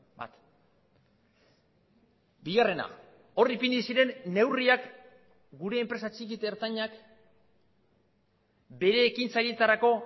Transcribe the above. bat bigarrena hor ipini ziren neurriak gure enpresa txiki eta ertainak bere ekintzaileetarako